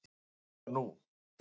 En hvað var nú?